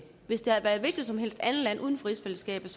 hvis det havde været et hvilket som helst andet land uden for rigsfællesskabet